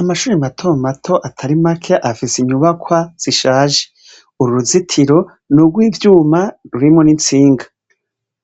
Amashure matomato atari make afise inyubakwa zishaje .Uruzitiro nurw'ivyuma rurimwo n'itsinga.